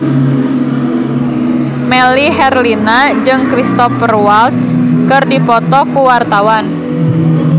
Melly Herlina jeung Cristhoper Waltz keur dipoto ku wartawan